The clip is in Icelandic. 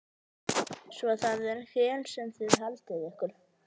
Svo það er hér sem þið haldið ykkur.